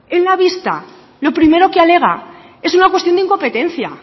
en la vista lo primero que alega es una cuestión de incompetencia